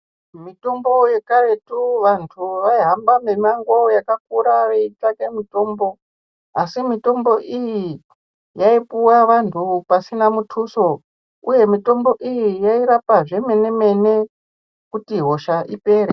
Mitombo yekaretu vantu vaihamba mimango yakakura veitsvaka mitombo asi mitmbo iyi yaipuwa vantu pasina mutuso uye mitombo iyi yairapa zvemene mene kuti hosha ipere.